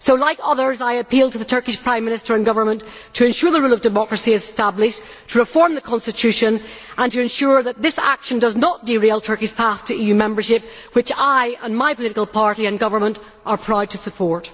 So, like others, I appeal to the Turkish Prime Minister and government to ensure the rule of democracy is established, to reform the constitution, and to ensure that this action does not derail Turkey's progress towards EU membership, which I, and my political party and government, are proud to support.